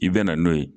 I bɛ na n'o ye